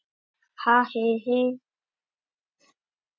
Ég hékk hálf út um gluggann, æpandi og argandi á allt og alla.